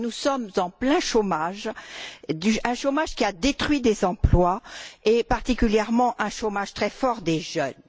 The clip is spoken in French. Or, nous sommes en plein chômage, un chômage qui a détruit des emplois, et particulièrement un chômage très fort des jeunes.